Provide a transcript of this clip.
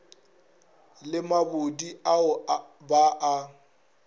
le mabodi ao ba a